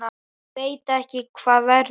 Ég veit ekki hvað verður.